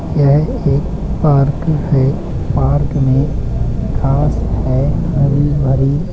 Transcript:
यह एक पार्क है पार्क में घांस है हरी भरी |